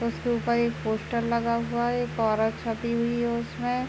उसके ऊपर एक पोस्टर लगा हुआ है एक औरत छपी हुई है उसमें।